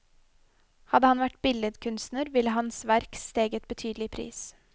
Hadde han vært billedkunstner, ville hans verk steget betydelig i pris.